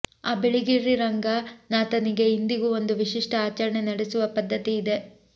ಆ ಬಿಳಿಗಿರಿರಂಗನಾಥನಿಗೆ ಇಂದಿಗೂ ಒಂದು ವಿಶಿಷ್ಟ ಆಚರಣೆ ನಡೆಸುವ ಪದ್ಧತಿ ಇದೆ